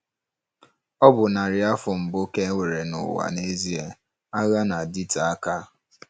Ọ bụ narị afọ mbụ ka e nwere n'ụwa n'ezie - agha na-adịte aka.